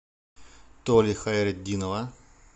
толи хайретдинова